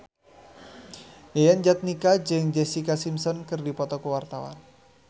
Yayan Jatnika jeung Jessica Simpson keur dipoto ku wartawan